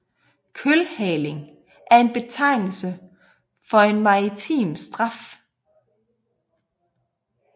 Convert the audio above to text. Kølhaling er en betegnelse for en maritim straf